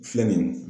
Filɛ nin ye